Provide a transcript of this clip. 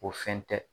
O fɛn tɛ